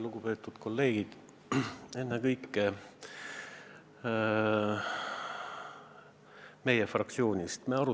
Lugupeetud kolleegid ennekõike meie fraktsioonist!